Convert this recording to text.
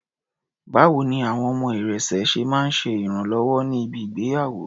Báwo ni àwọn ọmọ irẹ̀sẹ̀ máa ń ṣe ìrànwọ́ ní bi ìgbéyàwó?